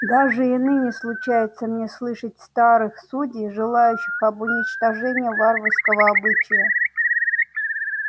даже и ныне случается мне слышать старых судей желающих об уничтожении варварского обычая